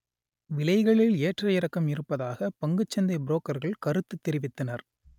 விலைகளில் ஏற்ற இறக்கம் இருப்பதாக பங்குச் சந்தை புரோக்கர்கள் கருத்து தெரிவித்தனர்